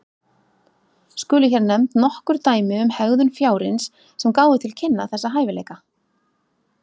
Skulu hér nefnd nokkur dæmi um hegðun fjárins sem gáfu til kynna þessa hæfileika.